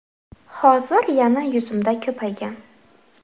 Hozir yana yuzimda ko‘paygan.